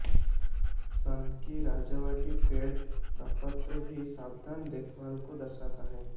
सनकी सजावटी पेड़ प्रपत्र भी सावधान देखभाल को दर्शाता है